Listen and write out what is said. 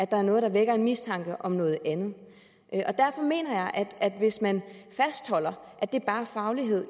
der er noget der vækker en mistanke om noget andet derfor mener jeg at hvis man fastholder at det bare er faglighed